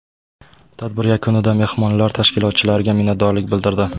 Tadbir yakunida mehmonlar tashkilotchilarga minnatdorlik bildirdi.